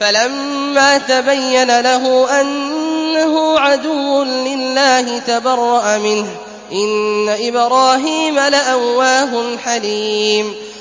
فَلَمَّا تَبَيَّنَ لَهُ أَنَّهُ عَدُوٌّ لِّلَّهِ تَبَرَّأَ مِنْهُ ۚ إِنَّ إِبْرَاهِيمَ لَأَوَّاهٌ حَلِيمٌ